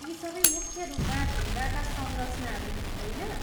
यी सबै मुख्य रूपमा ढुङ्गाका संरचनाहरू हुन्, होइन?